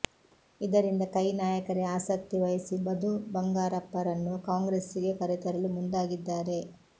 ಇದರಿಂದ ಕೈ ನಾಯಕರೇ ಆಸಕ್ತಿ ವಹಿಸಿ ಮಧು ಬಂಗಾರಪ್ಪರನ್ನು ಕಾಂಗ್ರೆಸ್ಸಿಗೆ ಕರೆತರಲು ಮುಂದಾಗಿದ್ದಾರೆ